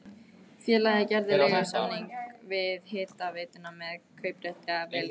Félagið gerði leigusamning við hitaveituna með kauprétti ef vel gengi.